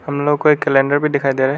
हम लोग को एक कैलेंडर भी दिखाई दे रा है।